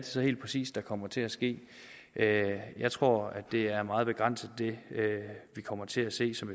så helt præcist der kommer til at ske jeg tror det er meget begrænset vi kommer til at se som